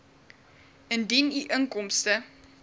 indien u inkomste